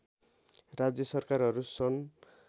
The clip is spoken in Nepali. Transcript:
राज्य सरकारहरू सन्